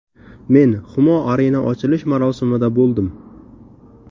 Men Humo Arena ochilish marosimida bo‘ldim.